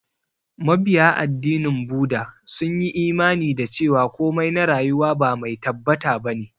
Mabiya addinin Buda sun yi imani da cewa komai na rayuwa ba mai tabbata ba ne.